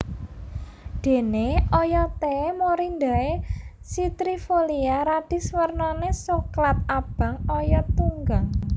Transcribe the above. Déné oyoté Morindae citrifolia Radix wernané soklat abang oyot tunggang